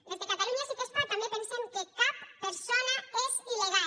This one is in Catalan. des de catalunya sí que es pot també pensem que cap persona és il·legal